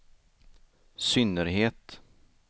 synnerhet